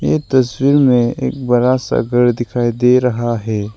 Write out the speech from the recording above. ये तस्वीर में एक बड़ा सा घर दिखाई दे रहा है।